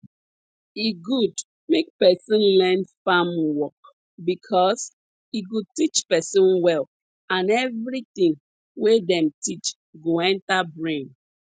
e good make person learn farm work because e go teach person well and everything wey dem teach go enter brain